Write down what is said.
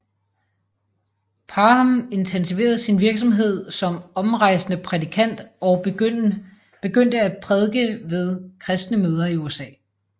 Parham intensiverede sin virksomhed som omrejsende prædikant og begyndte at prædike ved kristne møder i USA